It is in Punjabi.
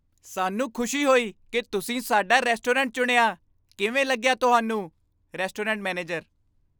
ਸਾਨੂੰ ਖੁਸ਼ੀ ਹੋਈ ਕਿ ਤੁਸੀਂ ਸਾਡਾ ਰੈਸਟੋਰੈਂਟ ਚੁਣਿਆ ਕਿਵੇਂ ਲੱਗਿਆ ਤੁਹਾਨੂੰ? Restaurant manager